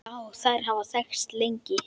Já, þær hafa þekkst lengi.